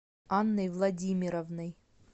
анной владимировной